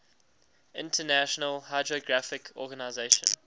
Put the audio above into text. international hydrographic organization